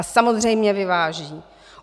A samozřejmě vyváží.